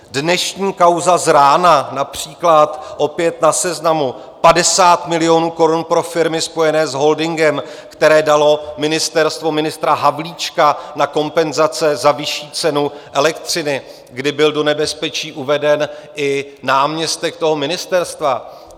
Dnešní kauza z rána například, opět na Seznamu: 50 milionů korun pro firmy spojené s holdingem, které dalo ministerstvo ministra Havlíčka na kompenzace za vyšší cenu elektřiny, kdy byl do nebezpečí uveden i náměstek toho ministerstva.